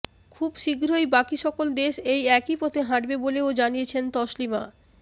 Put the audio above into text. খুব শীঘ্রই বাকি সকল দেশ এই একই পথে হাঁটবে বলেও জানিয়েছেন তসলিমা